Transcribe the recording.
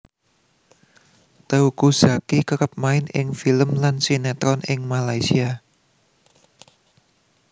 Teuku Zacky kerep main ing film lan sinetron ing Malaysia